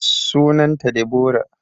Sunan ta Deborah